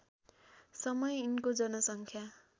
समय यिनको जनसङ्ख्या